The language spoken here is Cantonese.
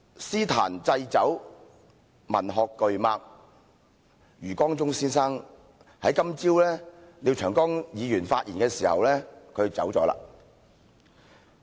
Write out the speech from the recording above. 詩壇祭酒、文學巨擘余光中先生今早在廖長江議員發言時離世。